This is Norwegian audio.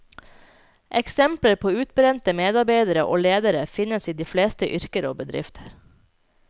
Eksempler på utbrente medarbeidere og ledere finnes i de fleste yrker og bedrifter.